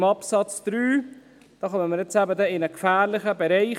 Beim Absatz 3 geraten wir in einen gefährlichen Bereich.